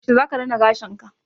Yaushe zaka rina gashinka?